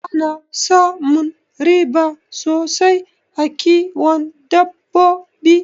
Ana samun riba sosai a kiwon dabbabo